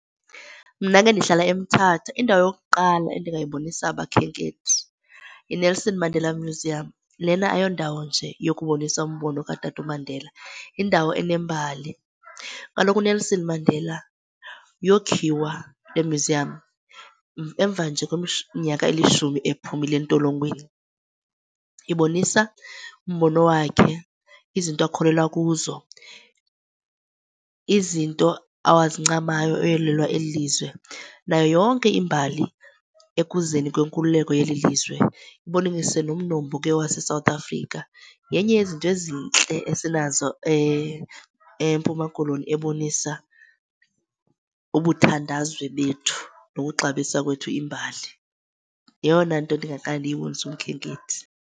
Mna ke ndihlala eMthatha. Indawo yokuqala endingayibonisa abakhenkethi yiNelson Mandela Museum. Lena ayondawo nje yokubonisa umbono kaTata uMandela, yindawo enembali. Kaloku uNelson Mandela yokhiwa le myuziyam emva nje kweminyaka elishumi ephumile entolongweni. Ibonisa umbono wakhe, izinto akholelwa kuzo, izinto awazincamayo eyolwela eli lizwe nayo yonke imbali ekuzeni kwenkululeko yelilizwe. Ibonise nomnombo ke waseSouth Afrika. Yenye yezinto ezintle esinazo eMpuma Koloni ebonisa ubuthandazwe bethu nokuxabisa kwethu imbali. Yeyona nto ndingaqale ndiyibonise umkhenkethi.